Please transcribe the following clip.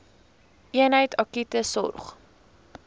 eenheid akute sorg